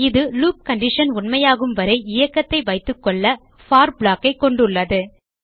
இது loop condition உண்மையாகும் வரை இயக்கத்தை வைத்துக்கொள்ள போர் block ஐ கொண்டுள்ளது